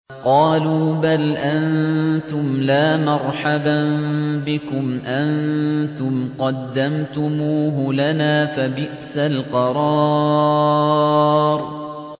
قَالُوا بَلْ أَنتُمْ لَا مَرْحَبًا بِكُمْ ۖ أَنتُمْ قَدَّمْتُمُوهُ لَنَا ۖ فَبِئْسَ الْقَرَارُ